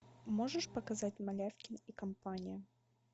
можешь показать малявкин и компания